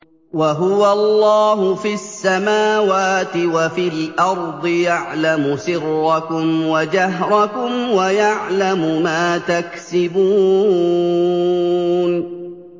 وَهُوَ اللَّهُ فِي السَّمَاوَاتِ وَفِي الْأَرْضِ ۖ يَعْلَمُ سِرَّكُمْ وَجَهْرَكُمْ وَيَعْلَمُ مَا تَكْسِبُونَ